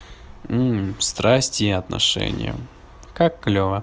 страсти и отношения как клёва